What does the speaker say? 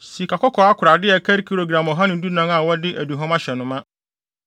sikakɔkɔɔ akorade a ɛkari gram ɔha ne dunan (114) a wɔde aduhuam ahyɛ no ma;